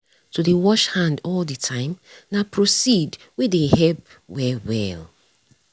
to dey wash hand all the time nah proceed wey dey help well well.